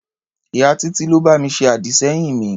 Ìyá Títí ló bá mi ṣe àdì-sẹ́yìn mi.